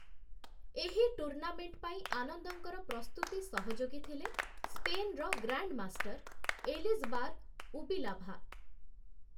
ଏହି ଟୁର୍ଣ୍ଣାମେଣ୍ଟ୍ ପାଇଁ ଆନନ୍ଦଙ୍କର ପ୍ରସ୍ତୁତି ସହଯୋଗୀ ଥିଲେ ସ୍ପେନ୍‌ର ଗ୍ରାଣ୍ଡମାଷ୍ଟର୍‌ 'ଏଲିଜ୍‌ବାର ଉବିଲାଭା' ।